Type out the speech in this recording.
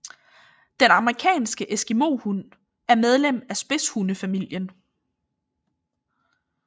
Den amerikanske eskimohund er medlem af spidshunde familien